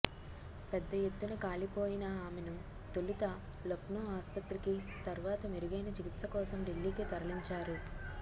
పెద్ద ఎత్తున కాలిపోయిన ఆమెను తొలుత లక్నో ఆసుపత్రికి తర్వాత మెరుగైన చికిత్స కోసం ఢిల్లీకి తరలించారు